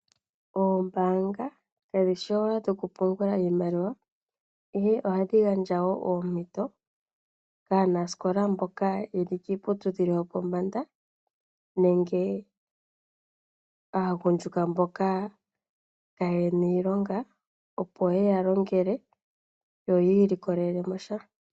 Ombaanga kadhi shi owala dho ku pungula iimaliwa, ihe ohadhi gandja wo oompito kaanasikola mboka ye li kiiputudhilo yo pombanda nenge aagundjuka mboka kaye na iilonga, opo yeya longele yo ya ilikolele mo sha.